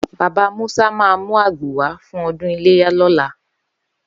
Baba Musa ma mú àgbò wá fún ọdún iléyà lọ́la.